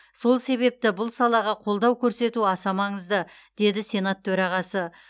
сол себепті бұл салаға қолдау көрсету аса маңызды деді сенат төрағасы